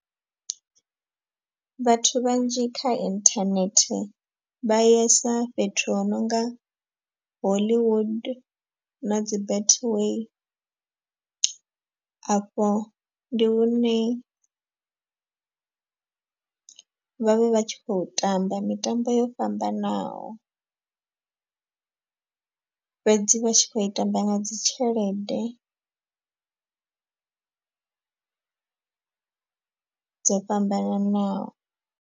Vhathu vhanzhi kha inthanethe vha yesa fhethu hu nonga hollywood na dzi betway. Afho ndi hune vhavha vha tshi khou tamba mitambo yo fhambanaho. Fhedzi vha tshi khou i tamba nga dzi tshelede dzo fhambananaho.